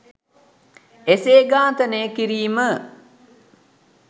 එසේ ඝාතනය කිරීම